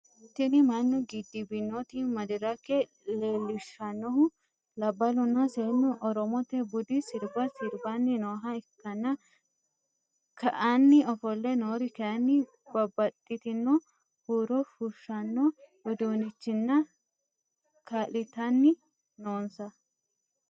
Tini mannu giddebnooti madirake leellishannohu labballunna seennu oromote budi sirba sirbanni nooha ikkanna ka'anni ofolle noori kayinni babaxitinno huuro fushshanno udunnichinni ka'litanni noonsa.